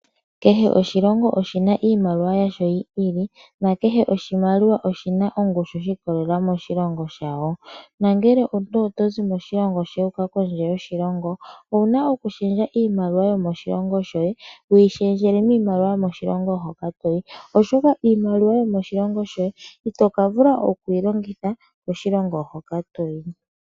Kehe oshilongo oshina iimaliwa yasho yi ili nakehe oshimaliwa oshina ongushu shi ikolelela moshilongo shawo. Ngele omuntu tozi moshilongo shoye wuuka kondje yoshilongo owuna okushendja iimaliwa yomoshilongo shoye wuyi shendjele miimaliwa yomoshilongo hoka toyi, oshoka iimaliwa yomoshilongo shoye itoka vula okuyi longitha koshilongo hoka toyi.